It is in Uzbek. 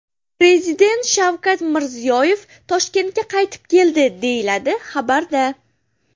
Prezident Shavkat Mirziyoyev Toshkentga qaytib keldi, deyiladi xabarda.